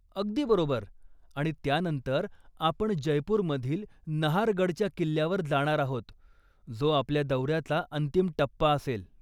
अगदी बरोबर. आणि त्यानंतर आपण जयपूरमधील नहारगडच्या किल्ल्यावर जाणार आहोत, जो आपल्या दौऱ्याचा अंतिम टप्पा असेल.